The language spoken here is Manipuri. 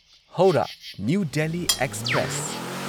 ꯍꯧꯔꯥ ꯅ꯭ꯌꯨ ꯗꯦꯜꯂꯤ ꯑꯦꯛꯁꯄ꯭ꯔꯦꯁ